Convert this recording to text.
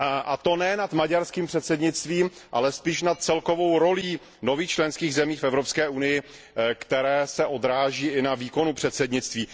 A to ne nad maďarským předsednictvím, ale spíš nad celkovou rolí nových členských zemí v Evropské unii, která se odráží i na výkonu předsednictví.